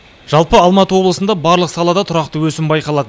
жалпы алматы облысында барлық салада тұрақты өсім байқалады